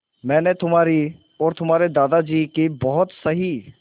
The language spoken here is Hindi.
मैंने तुम्हारी और तुम्हारे दादाजी की बहुत सही